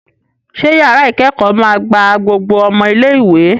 Ṣé yàrá ìkẹ́kọ̀ọ́ máa gba gbogbo ọmọ ilé-ìwé?